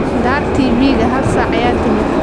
Daar TV-ga, hal saac ayaa timid.